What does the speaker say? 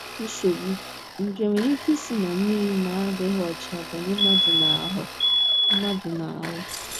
NSOGBU: Nje nwere ike isi ná mmiri na - adịghị ọcha banye mmadụ n’ahụ́ mmadụ n’ahụ́.